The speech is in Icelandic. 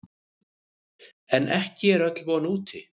En ekki er öll von úti.